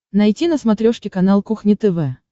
найти на смотрешке канал кухня тв